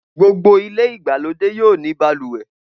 Gbogbo ilé ìgbàlódé yóò ní balùwẹ̀